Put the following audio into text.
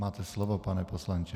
Máte slovo, pane poslanče.